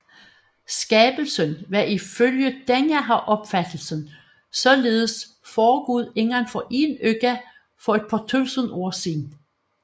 Skabelsen var ifølge denne opfattelse således foregået inden for én uge for et par tusind år siden